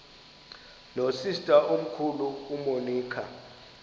nosister omkhulu umonica